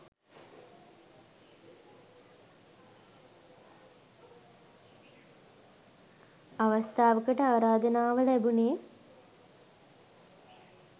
අවස්ථාවකට ආරාධනාව ලැබුණේ.